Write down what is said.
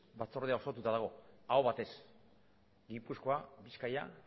batzordea sortuta dago aho batez gipuzkoa bizkaia